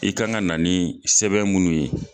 I kan ka na sɛbɛn munnu ye